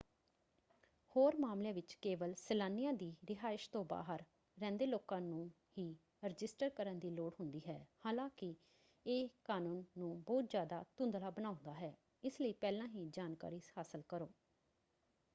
ਹੋਰ ਮਾਮਲਿਆਂ ਵਿੱਚ ਕੇਵਲ ਸੈਲਾਨੀਆਂ ਦੀ ਰਿਹਾਇਸ਼ ਤੋਂ ਬਾਹਰ ਰਹਿੰਦੇ ਲੋਕਾਂ ਨੂੰ ਹੀ ਰਜਿਸਟਰ ਕਰਨ ਦੀ ਲੋੜ ਹੁੰਦੀ ਹੈ। ਹਾਲਾਂਕਿ ਇਹ ਕਾਨੂੰਨ ਨੂੰ ਬਹੁਤ ਜ਼ਿਆਦਾ ਧੁੰਧਲਾ ਬਣਾਉਂਦਾ ਹੈ ਇਸ ਲਈ ਪਹਿਲਾਂ ਹੀ ਜਾਣਕਾਰੀ ਹਾਸਲ ਕਰੋ।